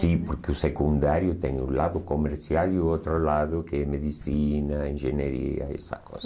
Sim, porque o secundário tem o lado comercial e o outro lado que é medicina, engenharia, essas coisas.